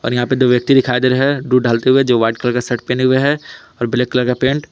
और यहां पे दो व्यक्ति दिखाई दे रहे हैं दूध डालते हुए जो वाइट कलर का शर्ट पहने हुए हैं और ब्लैक कलर का पैंट ।